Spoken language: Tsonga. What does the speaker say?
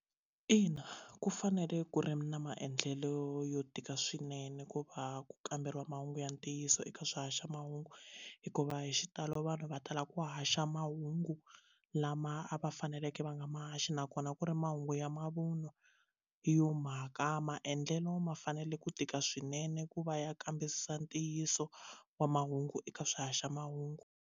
Ina, ku fanele ku ri na maendlelo yo tika swinene ku va ku kamberiwa mahungu ya ntiyiso eka swihaxamahungu hikuva hi xitalo vanhu va tala ku haxa mahungu lama ma a va faneleke va nga ma haxi nakona ku ri mahungu ya mavunwa hi yo mhaka maendlelo ma fanele ku tika swinene ku va ya kambisisa ntiyiso wa mahungu eka swihaxamahungu.